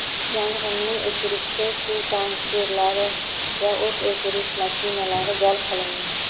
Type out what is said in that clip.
yong‘inni o‘chirishda suv tankerlari va o‘t o‘chirish mashinalari jalb qilingan.